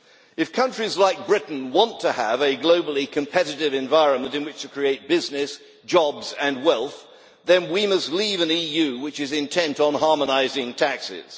If countries like Britain want to have a globally competitive environment in which to create business, jobs and wealth, then we must leave an EU which is intent on harmonising taxes.